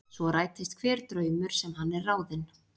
Svo rætist hver draumur sem hann er ráðinn.